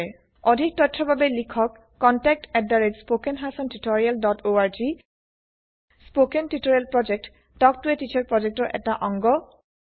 অধিক তথ্যৰ বাবে লিখক contactspoken tutorialorg spoken tutorial project talk to a teacher প্ৰযেক্তৰ এটা অংগ